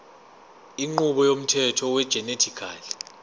inqubo yomthetho wegenetically